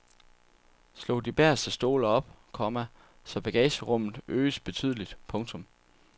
Slå de bageste stole op, komma så bagagerummet øges betydeligt. punktum